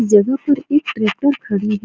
जगह पर एक ट्रेक्टर खड़ी है।